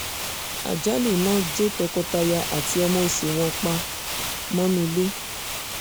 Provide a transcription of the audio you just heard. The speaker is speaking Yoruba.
àjálù iná jó tọkọ-taya àti ọmọ oṣù wọn pa mọ́nú ilé